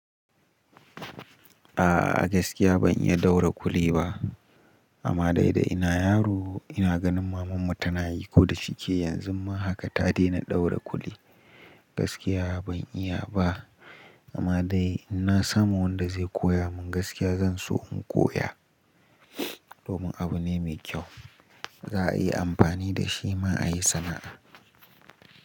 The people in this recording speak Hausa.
A'a gaskiya ban iya ɗaura ƙulli ba amma dai da ina yaro ina ganin mamanmu tana yi ko da shike yanzu ma haka ta daina ɗaura ƙulli. Gaskiya ban iya ba amma dai ina samu wanda zai koya mun gaskiya zan so in koya domin abu ne mai kyau za a iya amfani da shi ma a yi sana'a.